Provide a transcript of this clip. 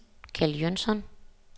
Kjeld Jønsson